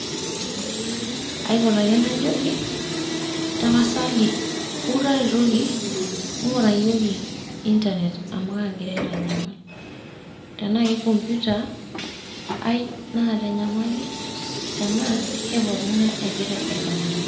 Aipot ake najoki, tapasali wou taretoki. Ng'urayioki internet amu kagira aitanyamal. Tenaa ke computer ai naata enyamali, tenaa ke pooking'ae egira aitanyamal.